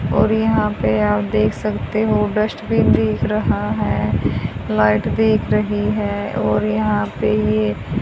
और यहां पे आप देख सकते हो डस्टबिन दिख रहा हैं लाइट दिख रही है और यहां पे ये--